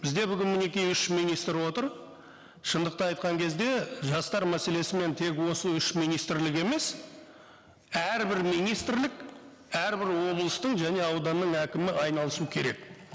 бізде бүгін мінеки үш министр отыр шындықты айтқан кезде жастар мәселесімен тек осы үш министрлік емес әрбір министрлік әрбір облыстың және ауданның әкімі айналысу керек